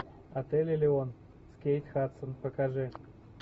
отель элеон с кейт хадсон покажи